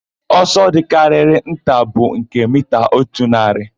Ọsọ dịkarịrị nta bụ nke mita otu narị,